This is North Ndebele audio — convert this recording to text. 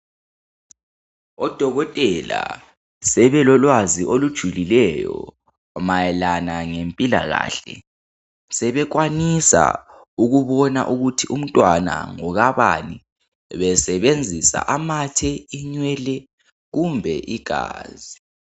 Odokotela sebelolwazi olujulileyo mayelana ngempilakahle , sebekwanisa ukuthi umntwana ngokabani besebenzisa amathe , inwele kumbe igazi